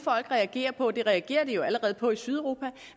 reagere på de reagerer jo allerede på det i sydeuropa og